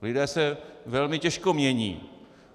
Lidé se velmi těžko mění.